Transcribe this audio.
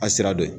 A sira dɔ ye